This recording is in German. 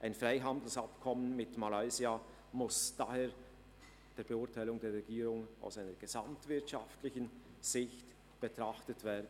Ein Freihandelsabkommen mit Malaysia muss daher nach Beurteilung der Regierung aus einer gesamtwirtschaftlichen Sicht betrachtet werden.